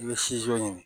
I bɛ ɲini